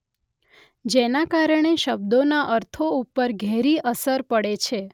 જેના કારણે શબ્દોના અર્થો ઉપર ઘેરી અસર પડે છે.